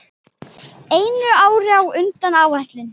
Einu ári á undan áætlun.